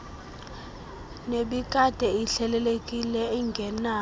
nebikade ihlelelekile engenawo